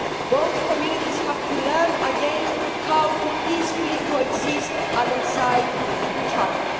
Both communities have to learn again how to peacefully co exist alongside each other.